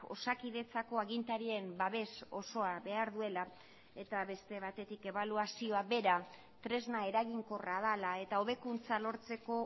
osakidetzako agintarien babes osoa behar duela eta beste batetik ebaluazioa bera tresna eraginkorra dela eta hobekuntza lortzeko